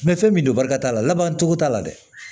fɛn min don barika t'a la laban cogo t'a la dɛ